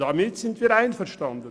Damit sind wir einverstanden.